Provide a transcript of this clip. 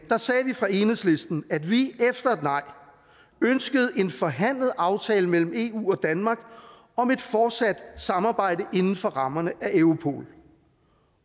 sagde vi fra enhedslistens side at vi efter et nej ønskede en forhandlet aftale mellem eu og danmark om et fortsat samarbejde inden for rammerne af europol